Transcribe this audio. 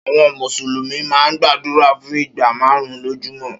Áwòn Músúlùmi má n gbàdúrá fún igbá màárùn lójúmò